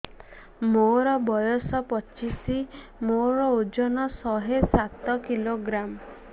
ମୋର ବୟସ ପଚିଶି ମୋର ଓଜନ ଶହେ ସାତ କିଲୋଗ୍ରାମ